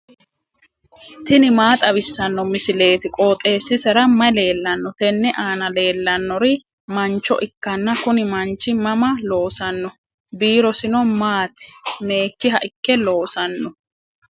tini maa xawissanno misileeti? qooxeessisera may leellanno? tenne aana leellannori mancho ikkanna kuni manchi mama loosanno? biirosino maati? meekkiha ikke loosanno?